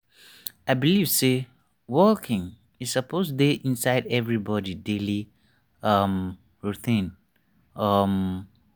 i believe say walking e suppose dey inside everybody daily um routine. um